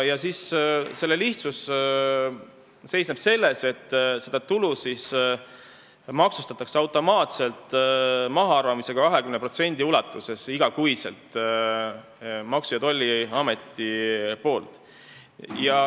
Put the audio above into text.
Asja lihtsus seisneb selles, et seda tulu maksustab Maksu- ja Tolliamet automaatselt: iga kuu tehakse 20% ulatuses mahaarvamisi.